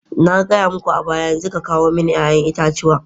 Na gaya muku a baya yanzu ka kawo mani 'ya'yan itatuwa.